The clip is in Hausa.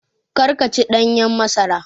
Kar ka ci ɗanyen masara